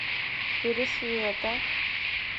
пересвета